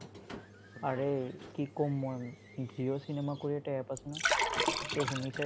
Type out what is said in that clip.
আৰে, কি কম মই! jio cinema কৰি এটা app আছে নহয়, এইটোতো শুনিছাই। তুমি অহ অহ অহ তাতে পুৰা free কৰি দিছে পুৰা